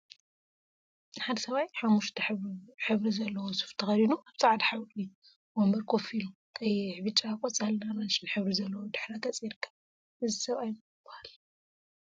ሓደ ሰብአይ ሓሙክሽቲ ሕብሪ ዘለዎ ሱፍ ተከዲኑ አብ ፃዕዳ ሕብሪ ወንበር ኮፍ ኢሉ ቀይሕ፣ ብጫ፣ ቆፃልን አራንሺን ሕብሪ ዘለዎ ድሕረ ገፅ ይርከብ፡፡ እዚ ሰብአይ መን ይበሃል?